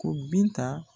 Ko binta